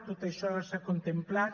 tot això s’ha contemplat